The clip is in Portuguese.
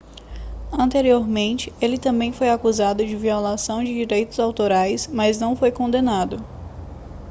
anteriormente ele também foi acusado de violação de direitos autorais mas não foi condenado